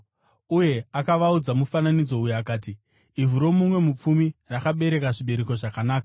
Uye akavaudza mufananidzo uyu akati, “Ivhu romumwe mupfumi rakabereka zvibereko zvakanaka.